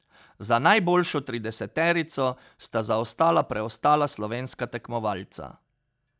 Za najboljšo trideseterico sta zaostala preostala slovenska tekmovalca.